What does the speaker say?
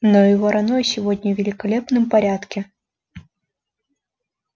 но и вороной сегодня в великолепном порядке